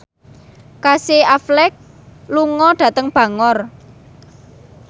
Casey Affleck lunga dhateng Bangor